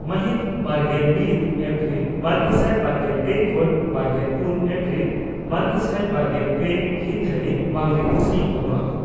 ᱢᱟᱦᱤᱛ ᱵᱟᱨᱜᱮᱞ ᱢᱤᱛ ᱮᱯᱨᱤᱞ ᱵᱟᱨᱜᱮᱥᱟᱭ ᱵᱟᱨᱜᱮᱞ ᱯᱮ ᱠᱷᱚᱱᱵᱟᱨᱜᱮᱞ ᱯᱩᱱ ᱮᱯᱨᱤᱞ ᱵᱟᱨᱜᱮᱥᱟᱭ ᱵᱟᱨᱜᱮᱞ ᱯᱮ ᱦᱤᱛ ᱫᱷᱟᱹᱨᱤᱡ ᱵᱟᱸᱜᱽᱨᱤᱯᱳᱥᱤ ᱵᱚᱱᱚᱛ